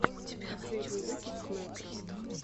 последний выпуск мэтро